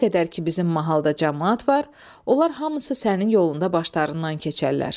Nə qədər ki bizim mahalda camaat var, onlar hamısı sənin yolunda başlarından keçərlər.